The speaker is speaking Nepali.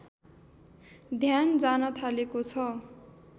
ध्यान जान थालेको छ